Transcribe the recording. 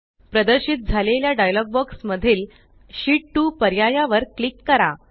प्रदर्शित झालेल्या dialogue box मधील शीत 2 पर्याया वर क्लिक करा